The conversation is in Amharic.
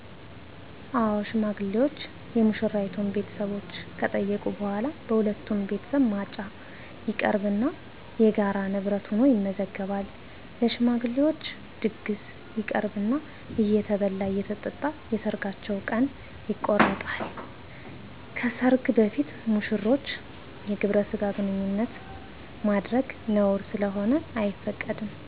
አዎ ሽማግሌዎች የሙሽራይቱን ቤተሰቦች ከጠየቁ በኋላ በሁለቱም ቤተሰብ ማጫ ይቀርብና የጋራ ንብረት ሁኖ ይመዘገባል። ለሽማግሌዎች ድግስ ይቀርብና እየተበላ አየተጠጣ የሰርጋቸው ቀን ይቆረጣል። ከሰርግ በፊት ሙሽሮች የግብረ ስጋ ግንኙነት ማድረግ ነውር ስለሆነ አይፈቀድም።